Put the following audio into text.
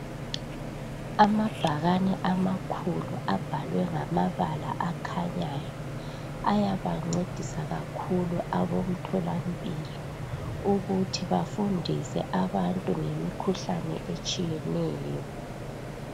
Amabhakani amakhulu abhalwe ngamabala akhanyayo ayabancedisa kakhulu abomtholampilo ukuthi bafundise abantu ngemikhuhlane etshiyeneyo.